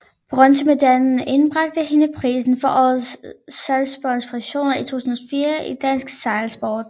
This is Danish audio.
Bronzemedaljen indbragte hende prisen for årets sejlsportspræstation 2004 i dansk sejlsport